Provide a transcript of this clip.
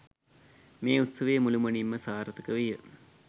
මේ උත්සවය මුළුමනින්ම සාර්ථක විය.